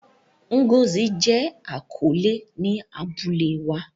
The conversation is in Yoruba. Ngozi jẹ akọle ni abule wa.